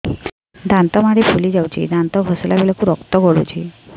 ଦାନ୍ତ ମାଢ଼ୀ ଫୁଲି ଯାଉଛି ଦାନ୍ତ ଘଷିଲା ବେଳକୁ ରକ୍ତ ଗଳୁଛି